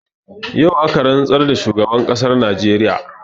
Yau aka rantsar da shugaban ƙasar najeriya